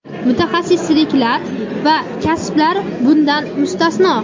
mutaxassisliklar va kasblar bundan mustasno;.